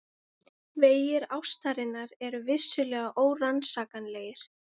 Vegir ástarinnar eru vissulega órannsakanlegir.